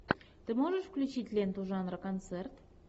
ты можешь включить ленту жанра концерт